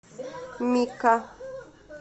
мика